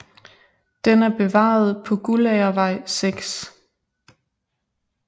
Den er bevaret på Guldagervej 6